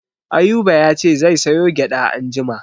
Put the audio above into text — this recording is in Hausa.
Ayuba ya ce zai sayo gyaɗa anjima.